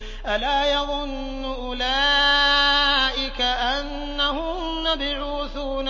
أَلَا يَظُنُّ أُولَٰئِكَ أَنَّهُم مَّبْعُوثُونَ